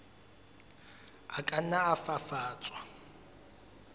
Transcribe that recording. a ka nna a fafatswa